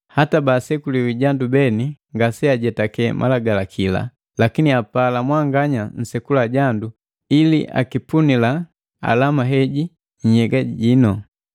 Hata bala basekuliwa jandu beni ngaseajetake Malagalakila, lakini apala mwanganya nsekula jandu ili akipunila alama heji nhyeja jinu.